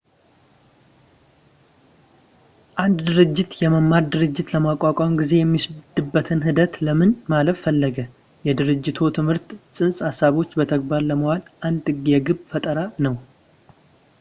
አንድ ድርጅት የመማር ድርጅት ለማቋቋም ጊዜ የሚወስድበትን ሂደት ለምን ማለፍ ፈለገ የድርጅታዊ ትምህርት ፅንሰ-ሀሳቦችን በተግባር ለማዋል አንድ የግብ ፈጠራ ነው